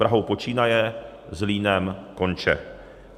Prahou počínaje, Zlínem konče.